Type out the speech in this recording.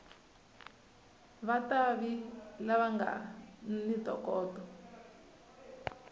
vativi lava nga ni ntokoto